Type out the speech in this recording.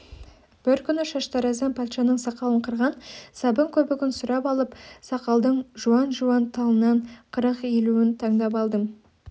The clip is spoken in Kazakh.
бір күні шаштараздан патшаның сақалын қырған сабын көбігін сұрап алып сақалдың жуан-жуан талынан қырық-елуін таңдап алдым